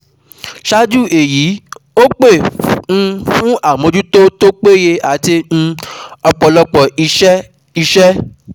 Ṣáájú èyí ó pè um fún àmójútó tó péye àti um ọ̀pọ̀lọpọ̀ iṣẹ́ iṣẹ́